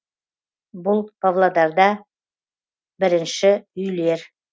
бұл павлодарда бірінші үйлер